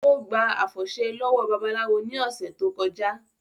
Ó gba àfọ̀ṣẹ lọ́wọ́ babaláwo ní ọ̀sẹ̀ tó kọjá